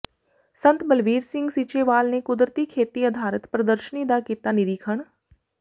ਸੰਤ ਬਲਵੀਰ ਸਿੰਘ ਸੀਚੇਵਾਲ ਨੇ ਕੁਦਰਤੀ ਖੇਤੀ ਆਧਾਰਿਤ ਪ੍ਰਦਰਸ਼ਨੀ ਦਾ ਕੀਤਾ ਨਿਰੀਖਣ